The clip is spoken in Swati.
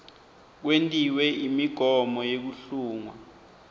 kwentiwe imigomo yekuhlungwa